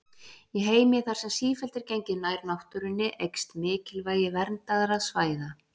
Í heimi þar sem sífellt er gengið nær náttúrunni eykst mikilvægi verndaðra svæða.